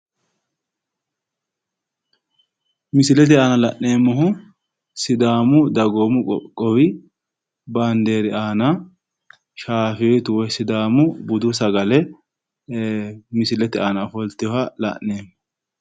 Misilete aana la'neemmohu sidaamu dagoomu qoqqowi baandeeri aana shaafeetu woy sidaamu budu sagale misilete aana ofoltewooha la'neemmo.